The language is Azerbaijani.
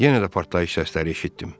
Yenə də partlayış səsləri eşitdim.